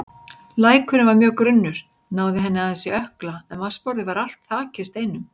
Lækurinn var mjög grunnur, náði henni aðeins í ökkla en vatnsborðið var allt þakið steinum.